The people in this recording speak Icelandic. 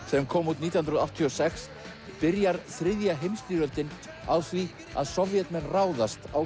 sem kom út nítján hundruð áttatíu og sex byrjar þriðja heimsstyrjöldin á því að Sovétmenn ráðast á